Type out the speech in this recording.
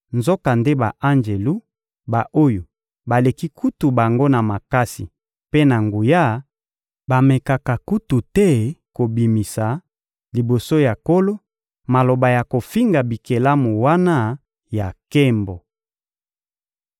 nzokande ba-anjelu, ba-oyo baleki kutu bango na makasi mpe na nguya, bamekaka kutu te kobimisa, liboso ya Nkolo, maloba ya kofinga bikelamu wana ya nkembo.